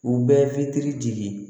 U bɛ fitiri jigin